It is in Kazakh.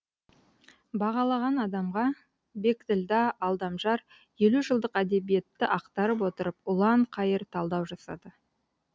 бағалаған адамға бекділдә алдамжар елу жылдық әдебиетті ақтарып отырып ұлан қайыр талдау жасады